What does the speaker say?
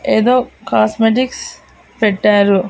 ఏదో కాస్మెటిక్స్ పెట్టారు.